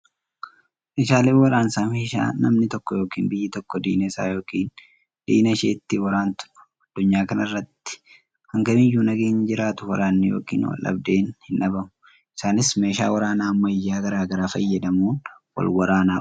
Meeshaaleen waraansa meeshaa namni tokko yookiin biyyi tokko diina isaa yookiin diina ishee ittiin waraantudha. Addunyaa kanarratti hangamiyyuu nageenyi jiraatu waraanni yookiin waldhabdeen hin dhabamu. Isaanis meeshaa waraanaa ammayyaa garaa garaa fayyadamuun wal waraanaa oolu.